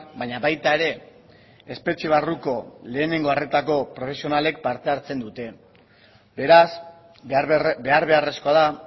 baina baita ere espetxe barruko lehenengo arretako profesionalek parte hartzen dute beraz behar beharrezkoa da